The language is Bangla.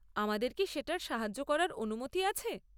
আমাদের কি সেটায় সাহায্য করার অনুমতি আছে?